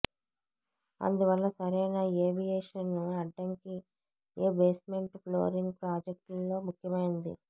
అందువల్ల సరైన ఏవియేషన్ అడ్డంకి ఏ బేస్మెంట్ ఫ్లోరింగ్ ప్రాజెక్ట్లో ముఖ్యమైనది